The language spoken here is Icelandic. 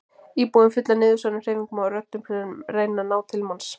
Íbúðin full af niðursoðnum hreyfingum og röddum sem reyna að ná til manns.